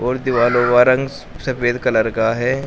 और दीवाल हुआ रंग सफेद कलर का है।